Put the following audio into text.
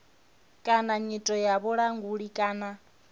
kana nyito ya vhulanguli kana